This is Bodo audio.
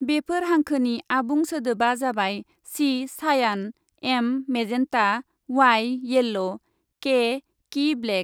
बेफोर हांखोनि आबुं सोदोबा जाबाय चि चायान, M magenta, Y yellow, K key black.